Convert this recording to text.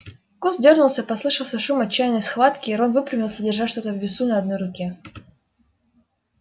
куст дёрнулся послышался шум отчаянной схватки и рон выпрямился держа что-то на весу в одной руке